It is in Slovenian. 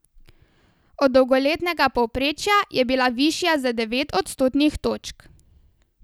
Od dolgoletnega povprečja je bila višja za devet odstotnih točk.